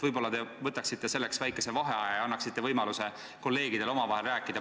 Võib-olla te võtaksite selleks väikese vaheaja ja annaksite kolleegidele võimaluse omavahel rääkida.